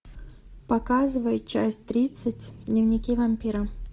показывай часть тридцать дневники вампира